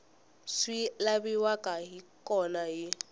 swi laviwaka hi kona hi